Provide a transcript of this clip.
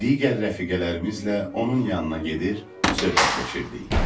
Digər rəfiqələrimizlə onun yanına gedir, söhbətləşirdik.